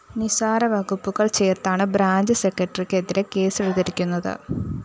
നിസാര വകുപ്പുകള്‍ ചേര്‍ത്താണ് ബ്രാഞ്ച്‌ സെക്രട്ടറിക്ക് എതിരെ കേസെടുത്തിരിക്കുന്നത്